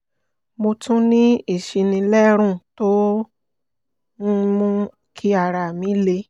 mo tún ní ìsínilérùn tó ń mú kí ara mi le